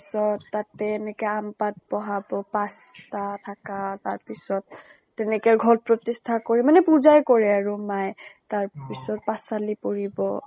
তাৰ পিছত তাতে এনেকে আম পাত বহাব, পাঁচ টা থাকা । তাৰপিছত, তেনেকে ঘট প্ৰতিষ্ঠা কৰি মানে পুজা আ কৰে আৰু মায়ে । তাৰ পিছত পাছঁ আলি পৰিব।